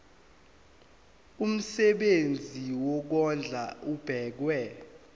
umsebenzi wokondla ubekwa